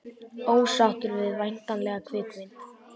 Ósáttur við væntanlega kvikmynd